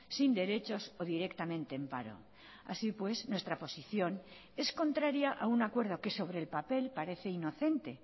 sin derechos o directamente en paro así pues nuestra posición es contraria a un acuerdo que sobre el papel parece inocente